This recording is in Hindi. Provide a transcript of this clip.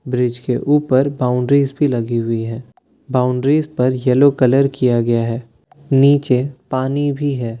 ब्रिज के ऊपर बाउंड्रीज भी लगी हुई है बाउंड्रीज पर येलो कलर किया गया है नीचे पानी भी है।